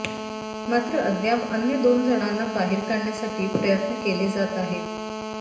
मात्र अद्याप अन्य दोन जणांना बाहेर काढण्यासाठी प्रयत्न केले जात आहेत